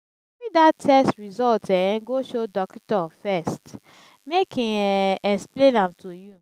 cari dat test result um go show dokitor first make em um explain am to you